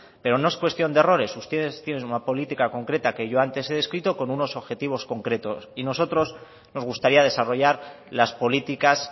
pero no es cuestión de errores ustedes tienen una política concreta que yo antes he descrito con unos objetivos concretos y nosotros nos gustaría desarrollar las políticas